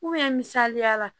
misaliya la